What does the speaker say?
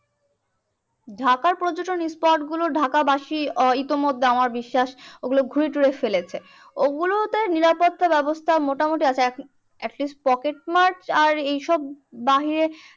ঢাকার পর্যটন spot গুলো ঢাকা বাসি এইতো মধ্যে আমার বিশ্বাস ওগুলোঘুরেটুরে ফেলেছে। ওগুলো তে নিরাপত্তা ব্যবস্থা মোটামুটি আছে। এখন at least পকেটমার আর এইসব বাহিরে